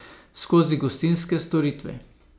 Skozi gostinske storitve.